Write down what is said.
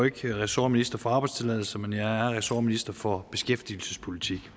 ikke ressortminister for arbejdstilladelser men jeg er ressortminister for beskæftigelsespolitik